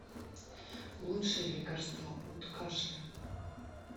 лучшее лекарство от кашля